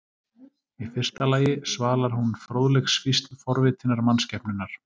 Í fyrsta lagi svalar hún fróðleiksfýsn forvitinnar mannskepnunnar.